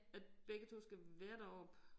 At begge 2 skal være deroppe